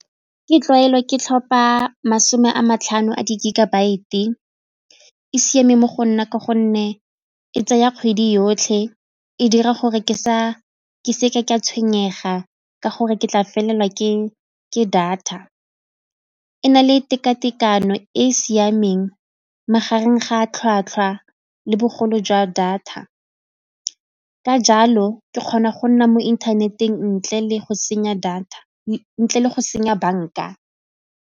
Ke tlwaelo ke tlhopa masome a matlhano a di-gigabyte-e e siame mo go nna ka gonne e tsaya kgwedi yotlhe e dira gore ke sa ke seke ka tshwenyega ka gore ke tla felelwa ke data. E na le teka-tekano e e siameng magareng ga a tlhwatlhwa le bogolo jwa data ka jalo ke kgona go nna mo internet-eng ntle le go senya banka.